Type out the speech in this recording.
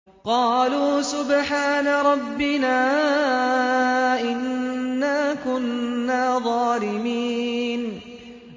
قَالُوا سُبْحَانَ رَبِّنَا إِنَّا كُنَّا ظَالِمِينَ